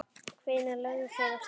Hvenær lögðu þeir af stað?